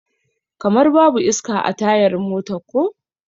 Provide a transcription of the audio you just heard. Kamar babu iska a tayar motar ko?